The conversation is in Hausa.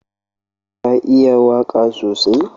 Ka iya waka sosai?